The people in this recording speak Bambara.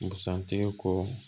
Busan tigi ko